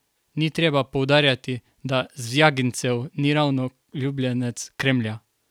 Ni treba poudarjati, da Zvjagincev ni ravno ljubljenec Kremlja.